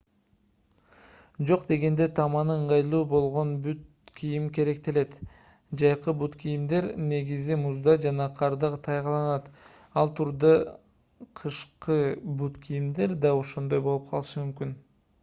жок дегенде таманы ыңгайлуу болгон бут кийим керектелет жайкы бут кийимдер негизи музда жана карда тайгаланат ал тургай кышкы бут кийимдер да ошондой болуп калышы мүмкүн